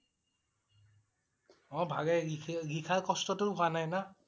অ' ভালে লিখি~লিখাৰ কষ্ট টো হোৱা নাই না